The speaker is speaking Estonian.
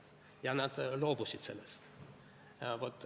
Ja nad loobusid sellest.